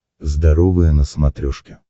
здоровое на смотрешке